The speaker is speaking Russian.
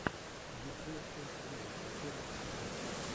диджей шейк виво последний эпизод